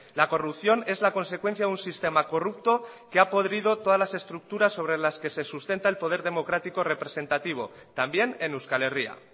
la corrupción es la consecuencia de un sistema corrupto que ha podrido todas las estructuras sobre las que se sustenta el poder democrático representativo también en euskal herria